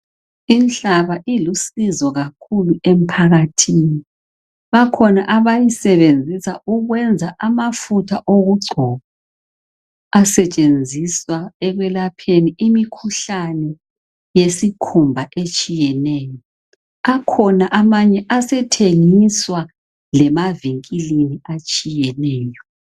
Inhlaba ilusizo kakhulu emphakathini. Bakhona abayisebenzisa ukwenza amafutha okugcoba asetshenziswa ekwelapheni imikhuhlane yesikhumba etshiyeneyo. Akhona amanye esethengiswa lemavinkilini atshiyeneyo.